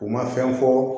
U ma fɛn fɔ